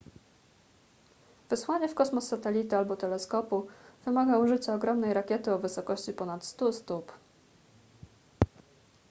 wysłanie w kosmos satelity albo teleskopu wymaga użycia ogromnej rakiety o wysokości ponad 100 stóp